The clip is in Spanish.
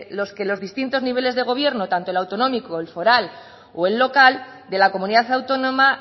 los que los distintos niveles de gobierno tanto el autonómico el foral o el local de la comunidad autónoma